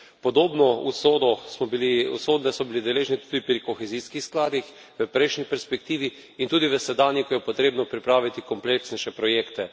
Podobne usode so bili deležni tudi pri kohezijskih skladih v prejšnji perspektivi in tudi v sedanji, ko je potrebno pripraviti kompleksnejše projekte.